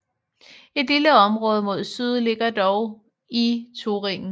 Et lille område mod syd ligger dog i Thüringen